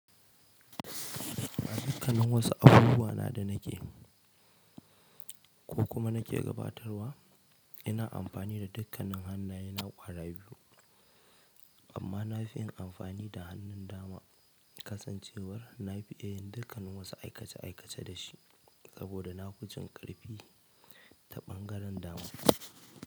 A dukkanin wasu abubuwa na da nake ko kuma nake gabatarwa, ina amfani da dukkanin hannayena ƙwara biyu, amma na fi yin amfani da hannun dama. Kasancewar na fi iya dukkanin wasu aikace aikace da shi, saboda nafi jin ƙarfi ta ɓangaren dama.